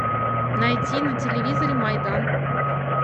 найди на телевизоре майдан